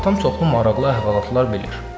Atam çoxlu maraqlı əhvalatlar bilir.